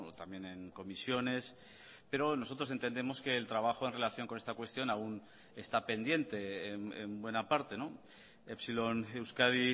también en comisiones pero nosotros entendemos que el trabajo en relación con esta cuestión aún está pendiente en buena parte epsilon euskadi